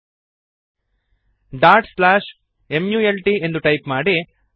mult dot slash mult ಎಂದು type ಮಾಡಿರಿ